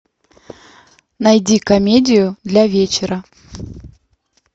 найди комедию для вечера